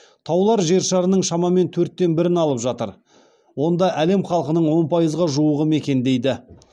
таулар жер шарының шамамен төрттен бірін алып жатыр онда әлем халқының он пайызға жуығы мекендейді